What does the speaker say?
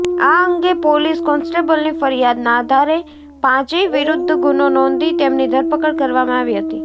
આ અંગે પોલીસ કોન્સ્ટેબલની ફરિયાદના આધારે પાંચેય વિરુદ્ધ ગુનો નોંધી તેમની ધરપકડ કરવામાં આવી હતી